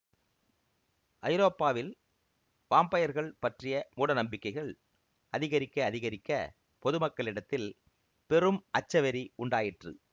ஐரோப்பாவில் வாம்பயர்கள் பற்றிய மூட நம்பிக்கைகள் அதிகரிக்க அதிகரிக்க பொது மக்களிடத்தில் பெரும் அச்சவெறி உண்டாயிற்று